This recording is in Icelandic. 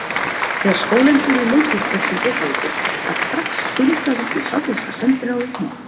Þegar skólinn fór í leikhúsferð til Reykjavíkur var strax skundað upp í sovéska sendiráðið með